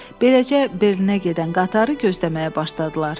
Beləcə, Berlinə gedən qatarı gözləməyə başladılar.